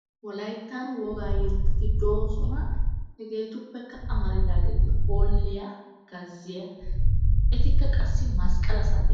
Wolayttan wogaa yettati doosona. Hegetuppekka amaridaageti hoolliyaa gazziyaa etikka qassi masqalaa saatiyaa.